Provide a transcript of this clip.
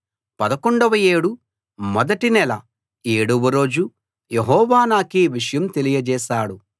పదకొండవ ఏడు మొదటి నెల ఏడవ రోజు యెహోవా నాకీ విషయం తెలియచేశాడు